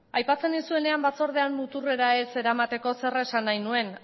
aipatzen duzuenen batzordean muturrera ez eramateko zer esan nahi nuen